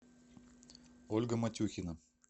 ольга матюхина